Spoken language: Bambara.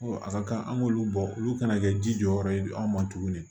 a ka kan an k'olu bɔ olu kana kɛ ji jɔyɔrɔ ye anw ma tuguni